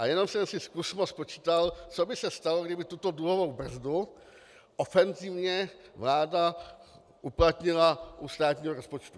A jenom jsem si zkusmo spočítal, co by se stalo, kdyby tuto dluhovou brzdu ofenzivně vláda uplatnila u státního rozpočtu.